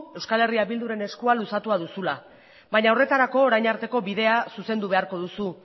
euskal herria bilduren eskua luzatua duzula baina horretarako orain arteko bidea zuzendu beharko duzu